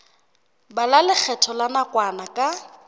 bala lekgetho la nakwana ka